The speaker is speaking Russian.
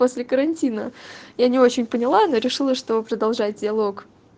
после карантина я не очень поняла она решила что продолжать диалог